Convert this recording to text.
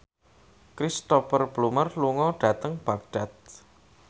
Cristhoper Plumer lunga dhateng Baghdad